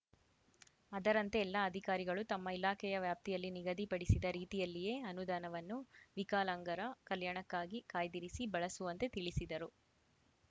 ಅದರಂತೆ ಎಲ್ಲ ಅಧಿಕಾರಿಗಳು ತಮ್ಮ ಇಲಾಖೆಯ ವ್ಯಾಪ್ತಿಯಲ್ಲಿ ನಿಗದಿಪಡಿಸಿದ ರೀತಿಯಲ್ಲಿಯೇ ಅನುದಾನವನ್ನು ವಿಕಲಾಂಗರ ಕಲ್ಯಾಣಕ್ಕಾಗಿ ಕಾಯ್ದಿರಿಸಿ ಬಳಸುವಂತೆ ತಿಳಿಸಿದರು